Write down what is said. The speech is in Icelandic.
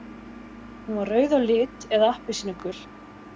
Hún var rauð á lit eða appelsínugul.